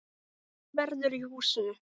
Lyfta verður í húsinu.